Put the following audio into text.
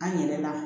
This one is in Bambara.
An yɛrɛ la